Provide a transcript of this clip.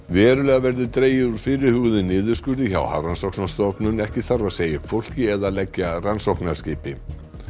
verulega verður dregið úr fyrirhuguðum niðurskurði hjá Hafrannsóknastofnun ekki þarf að segja upp fólki eða leggja rannsóknarskipi